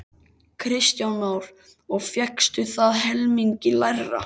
Kristján Már: Og fékkstu það helmingi lægra?